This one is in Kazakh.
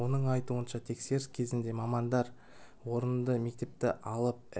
оның айтуынша тексеріс кезінде мамандар орынды мектепті алып